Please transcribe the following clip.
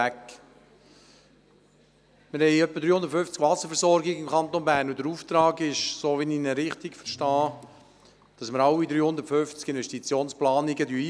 Im Kanton Bern haben wir etwa 350 Wasserversorgungen, und wenn ich den Auftrag richtig verstehe, fordern wir für alle 350 Investitionsplanungen ein.